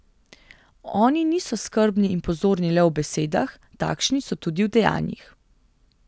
Oni niso skrbni in pozorni le v besedah, takšni so tudi v dejanjih.